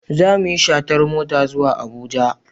Za mu yi shatar mota zuwa Abuja.